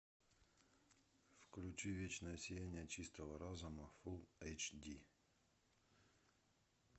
включи вечное сияние чистого разума фулл эйч ди